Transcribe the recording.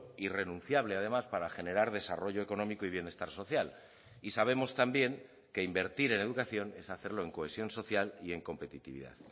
irrenunciable además para generar desarrollo económico y bienestar social y sabemos también que invertir en educación es hacerlo en cohesión social y en competitividad